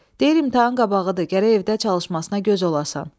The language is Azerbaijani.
Deyir imtahan qabağıdır, gərək evdə çalışmasına göz alasan.